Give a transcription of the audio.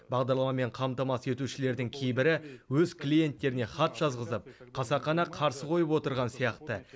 бағдарламамен қамтамасыз етушілердің кейбірі өз клиенттеріне хат жазғызып қасақана қарсы қойып отырған сияқты